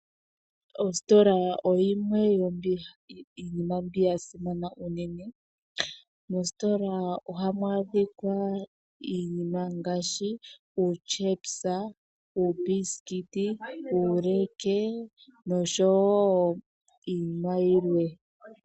Ositola oyimwe yomiinima mbi ya simana unene. Mositola ohamu adhika iinima ngaashi uutyepisa, uumbisikiti, uuleke nosho wo iinima yilwe.